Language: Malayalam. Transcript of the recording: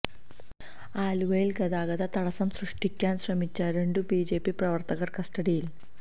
ആലുവയില് ഗതാഗത തടസം സൃഷ്ടിക്കാന് ശ്രമിച്ച രണ്ടു ബിജെപി പ്രവർത്തകർ കസ്റ്റഡിയില്